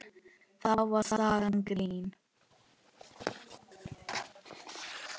Þá var sagan grín.